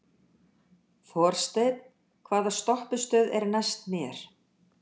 Þorsteinn, hvaða stoppistöð er næst mér?